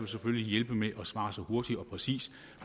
vil hjælpe med at svare hurtigt og præcist